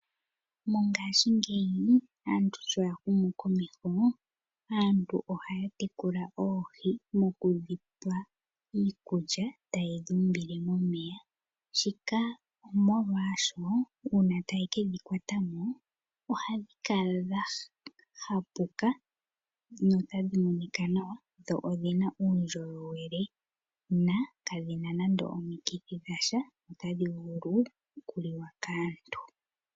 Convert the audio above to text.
Mongaashi ngeyi aantu sho ya humu komeho, aantu ohaya tekula oohi mokudhi pa iikulya taye dhi umbile momeya. Shika omolwaasho uuna taye ke dhi kwata mo mmomeya otadhi monika dha hapuka, notadhi monika nawa dho odhi na uundjolowele, na kadhi na nande omikithi dhasha, otadhi vulu oku liwa kaantu.